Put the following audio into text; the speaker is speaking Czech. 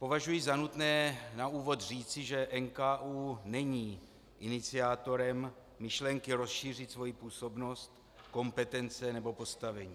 Považuji za nutné na úvod říci, že NKÚ není iniciátorem myšlenky rozšířit svoji působnost, kompetence nebo postavení.